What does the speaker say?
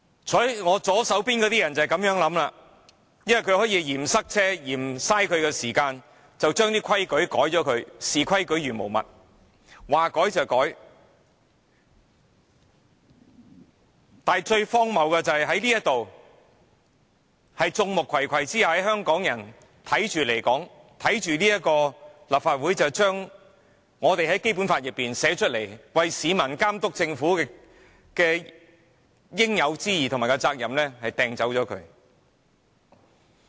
坐在我左手邊的議員的想法便是這樣，他們嫌塞車、嫌花時間，便要修改規則，視規矩如無物，說改便改，但最荒謬的是，現在在眾目睽睽之下，讓香港人目睹立法會將《基本法》訂明為市民監督政府的應有之義和責任刪除。